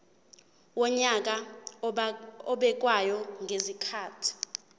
wonyaka obekwayo ngezikhathi